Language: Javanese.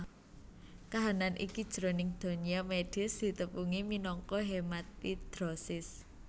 Kahanan iki jroning donya médhis ditepungi minangka hematidrosis